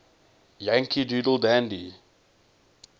yankee doodle dandy